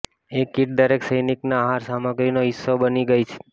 એ kit દરેક સૈનિકના આહારસામગ્રીનો હિસ્સો બની ગઈ હતી